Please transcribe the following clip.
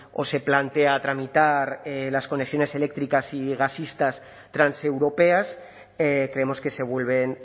o se plantea tramitar las conexiones eléctricas y gasistas transeuropeas creemos que se vuelven